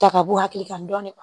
Ta ka bɔ hakili kan dɔni